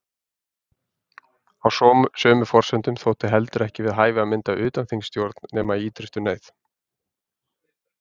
Á sömu forsendum þótti heldur ekki við hæfi að mynda utanþingsstjórn nema í ýtrustu neyð.